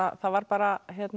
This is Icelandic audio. það var bara